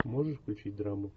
можешь включить драму